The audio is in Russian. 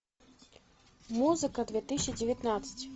музыка две тысячи девятнадцать